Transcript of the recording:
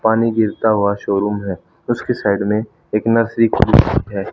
पानी गिरता हुआ शोरूम है उसकी साइड में एक नर्सरी है।